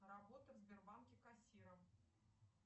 работа в сбербанке кассиром